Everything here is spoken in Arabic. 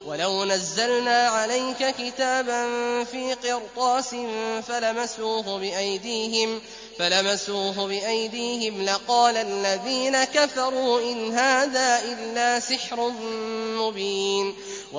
وَلَوْ نَزَّلْنَا عَلَيْكَ كِتَابًا فِي قِرْطَاسٍ فَلَمَسُوهُ بِأَيْدِيهِمْ لَقَالَ الَّذِينَ كَفَرُوا إِنْ هَٰذَا إِلَّا سِحْرٌ مُّبِينٌ